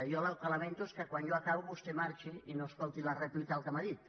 jo el que lamento és que quan jo acabo vostè marxi i no escolti la rèplica del que m’ha dit